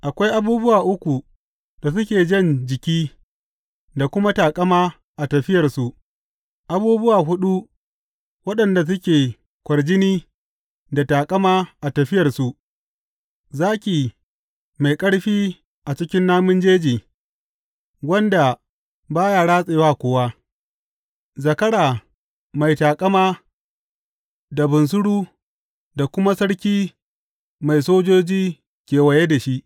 Akwai abubuwa uku da suke jan jiki da kuma taƙama a tafiyarsu abubuwa huɗu waɗanda suke kwarjini da taƙama a tafiyarsu, zaki mai ƙarfi a cikin namun jeji, wanda ba ya ratse wa kowa; zakara mai taƙama, da bunsuru, da kuma sarki mai sojoji kewaye da shi.